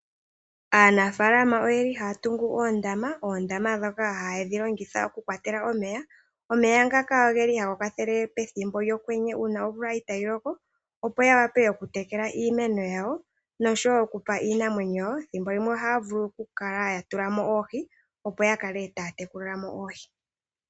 Aanafaalama ohaya tungu oondama dhoka haya longitha oku kwatela omeya. Omeya ngaka ohaga kwathele pethimbo lyokwenye uuna omvula itayi loko, opo ya wape okutekela iimeno yawo noshowo okupa iinamwenyo. Thimbo limwe ohaya kala yatula mo oohi, opo yakale taya tekulile mo oohi.